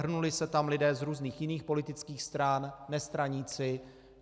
Hrnuli se tam lidé z různých jiných politických stran, nestraníci.